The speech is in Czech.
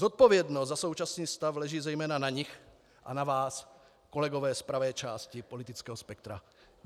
Zodpovědnost za současný stav leží zejména na nich a na vás, kolegové z pravé části politického spektra.